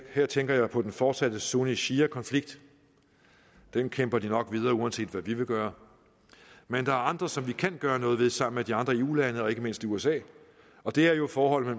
her tænker jeg på den fortsatte sunni shia konflikt den kæmper de nok videre uanset hvad vi vil gøre men der andre som vi kan gøre noget ved sammen med de andre eu lande og ikke mindst usa og det er jo forholdet